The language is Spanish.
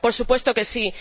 Por supuesto que sí.